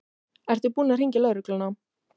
Ertu búin að hringja á lögregluna?